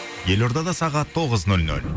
елордада сағат тоғыз нөл нөл